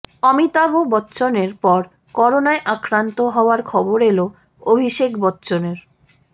অমিতাভ বচ্চনের পর করোনায় আক্রান্ত হওয়ার খবর এল অভিষেক বচ্চনের